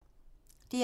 DR1